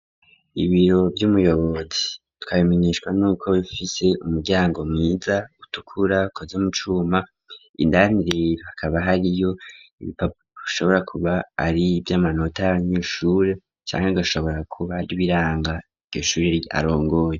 Ibiro vy'umuyobozi twabimeneshwa nuko bifise umuryango mwiza utukura ukozwe mucuma indani rero hakaba hariyo ibipapuro ashobora kuba ari vy'amanota ny'ishure canke gashobora kuba aribiranga iryo shure arongoye.